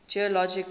geologic time scale